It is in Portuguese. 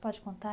Pode contar?